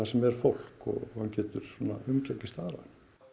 sem er fólk og hann getur umgengist aðra